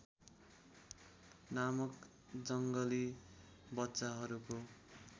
नामक जङ्गली बच्चाहरूको